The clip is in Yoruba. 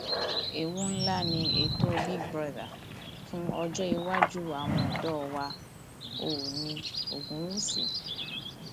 ewu ńlá ni ètò big brother fún ọjọ iwájú iwájú àwọn ọdọ wa oòní ogunwúsì